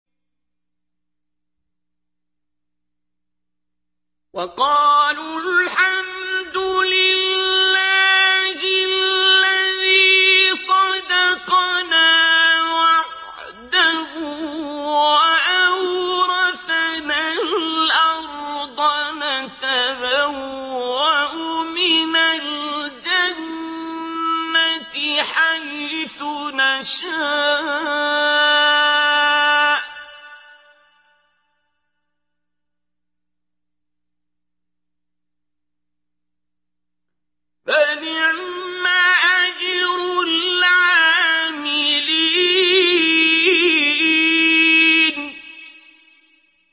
وَقَالُوا الْحَمْدُ لِلَّهِ الَّذِي صَدَقَنَا وَعْدَهُ وَأَوْرَثَنَا الْأَرْضَ نَتَبَوَّأُ مِنَ الْجَنَّةِ حَيْثُ نَشَاءُ ۖ فَنِعْمَ أَجْرُ الْعَامِلِينَ